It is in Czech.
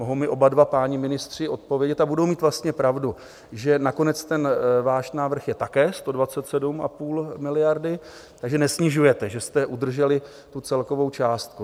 Mohou mi oba dva páni ministři odpovědět, a budou mít vlastně pravdu, že nakonec ten váš návrh je také 127,5 miliardy, takže nesnižujete, že jste udrželi celkovou částku.